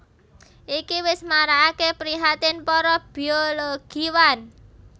Iki wis marakaké prihatin para biologiwan